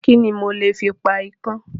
Kíni mo lè fi pa ikán?